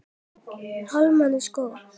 Almennt sko?